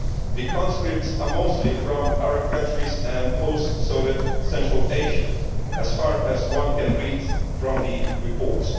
The conscripts are mostly from Arab countries and post Soviet Central Asia, as far as one can read from the reports.